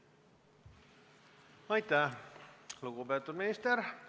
Aitäh, lugupeetud minister!